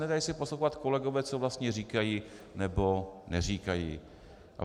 Nedají se poslouchat kolegové, co vlastně říkají nebo neříkají.